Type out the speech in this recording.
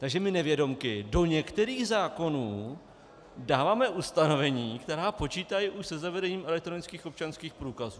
Takže my nevědomky do některých zákonů dáváme ustanovení, která počítají už se zavedením elektronických občanských průkazů.